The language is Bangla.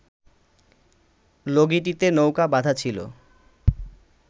লগিটিতে নৌকা বাঁধা ছিল